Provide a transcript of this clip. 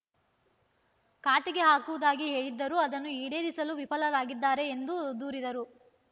ಖಾತೆಗೆ ಹಾಕುವುದಾಗಿ ಹೇಳಿದ್ದರೂ ಅದನ್ನು ಈಡೇರಿಸಲು ವಿಫಲರಾಗಿದ್ದಾರೆ ಎಂದು ದೂರಿದರು